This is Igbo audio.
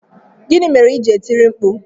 Gịnị mere i ji na-etiri mkpu?